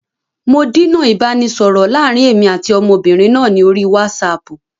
Mò díná ìbánisọọ̀rọ̀ láàrín èmi àti ọmọbìnrin náà ni orí wásààpù.